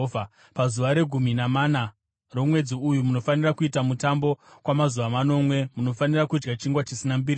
Pazuva regumi namana romwedzi uyu, munofanira kuita mutambo; kwamazuva manomwe munofanira kudya chingwa chisina mbiriso.